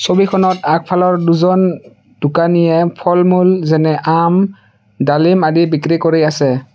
ছবিখনত আগফালৰ দুজন দোকানীয়ে ফল-মূল যেনে আম ডালিম আদি বিক্ৰী কৰি আছে।